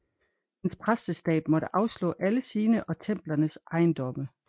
Dens præsteskab måtte afstå alle sine og templernes ejendomme